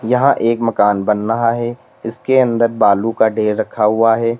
यहां एक मकान बन रहा है इसके अंदर बालू का ढेर रखा हुआ है।